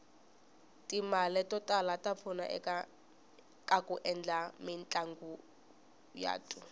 timale totala tapfuna ekaku endla mitlanguyatu